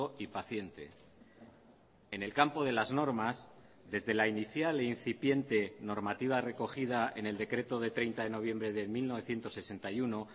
y paciente en el campo de las normas desde la inicial e incipiente normativa recogida en el decreto de treinta de noviembre de mil novecientos sesenta y uno